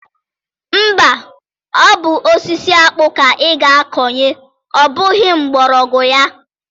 Mba, ọ bụ osisi akpụ ka ị ga-akọnye ọ bụghị mgbọrọgwụ ya.